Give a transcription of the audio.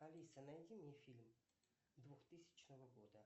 алиса найди мне фильм двухтысячного года